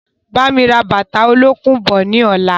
Bámi ra bàtà olókùn bọ̀ ni ọ̀la!